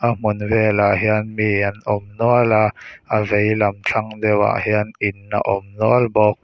a hmun velah hian mi an awm nual a a veilam thlang deuhah hian in a awm nual bawk.